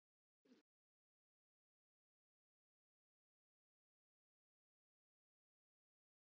Værir þú til í að skipta ef þú lendir á einhverri sætri en ég ljótri?